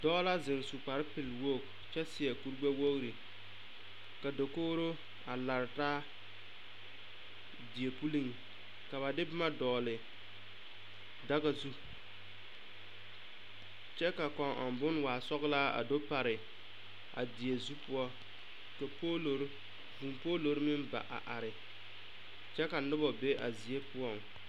Dɔɔ la zeŋ su kpare pelwogi kyɛ seɛ kuri gbɛwogri ka dakogri a lare taa die pulliŋ ka ba de boma dɔgle daga zu kyɛ ka kõɔ ɔŋ boŋ waa sɔglaa a du pare die zu poɔ ka poloro meŋ ba a are kyɛ ka noba be a zie poɔŋ.